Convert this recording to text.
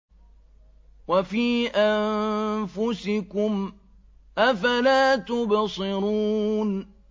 وَفِي أَنفُسِكُمْ ۚ أَفَلَا تُبْصِرُونَ